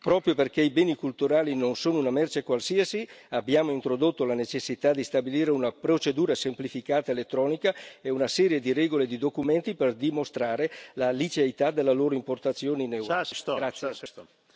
Proprio perché i beni culturali non sono una merce qualsiasi, abbiamo introdotto la necessità di stabilire una procedura semplificata elettronica e una serie di regole e di documenti per dimostrare la liceità della loro importazione in Europa.